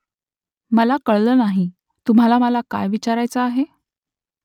मला कळलं नाही तुम्हाला मला काय विचारायचं आहे ?